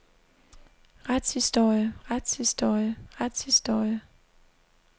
retshistorie retshistorie retshistorie